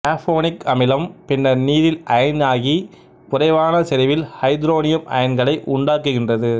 carbonic அமிலம் பின்னர் நீரில் அயனாகி குறைவான செறிவில் ஐதரோனியம் அயன்களை உண்டாக்குகின்றது